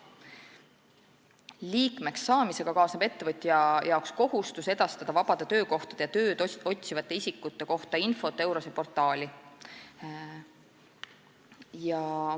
Liikmeks saamisega kaasneb ettevõtjale kohustus edastada vabade töökohtade ja tööd otsivate isikute kohta infot EURES-e portaali.